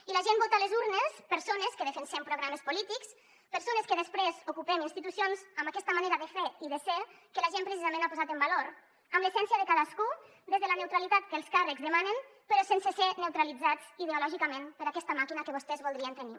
i la gent vota a les urnes persones que defensem programes polítics persones que després ocupem institucions amb aquesta manera de fer i de ser que la gent precisament ha posat en valor amb l’essència de cadascú des de la neutralitat que els càrrecs demanen però sense ser neutralitzats ideològicament per aquesta màquina que vostès voldrien tenir